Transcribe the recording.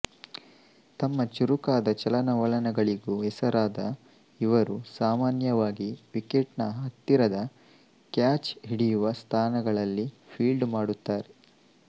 ತಮ್ಮ ಚುರುಕಾದ ಚಲನವಲನಗಳಿಗೂ ಹೆಸರಾದ ಇವರು ಸಾಮಾನ್ಯವಾಗಿ ವಿಕೆಟ್ ನ ಹತ್ತಿರದ ಕ್ಯಾಚ್ ಹಿಡಿಯುವ ಸ್ಥಾನಗಳಲ್ಲಿ ಫೀಲ್ಡ್ ಮಾಡುತ್ತಾರೆ